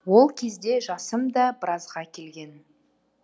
ол кезде жасым да біразға келген